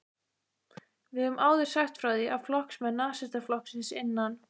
Við höfum áður sagt frá því, að flokksmenn Nasistaflokksins innan